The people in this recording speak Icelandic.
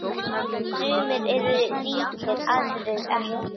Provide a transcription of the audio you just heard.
Sumir eru ríkir, aðrir ekki.